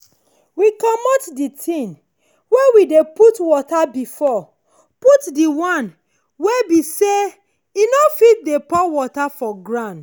we comot the thing wey we dey put water before put d one wey be sey e no fit dey pour water for ground.